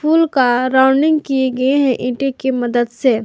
फूल का राउंडिंग किये गए है ईंटो की मदद से।